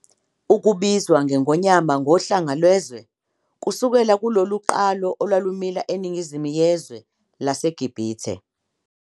Ukubizwa kweNgonyama ngoHlanga Lwezwe kusukelwa kulolu qalo olwalumila eNingizimu yezwe laseGibhithe.